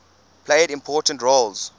played important roles